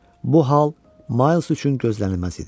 Bu hal Ma üçün gözlənilməz idi.